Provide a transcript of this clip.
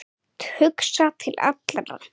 Hugsa til allra.